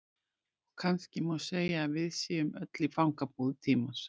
Og kannski má segja að við séum öll í fangabúðum tímans.